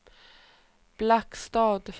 Blackstad